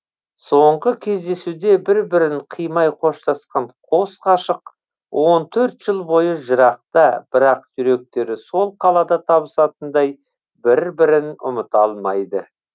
соңғы кездесуде бір бірін қимай қоштасқан қос ғашық он төрт жыл бойы жырақта бірақ жүректері сол қалада табысатындай бір бірін ұмыта алмайды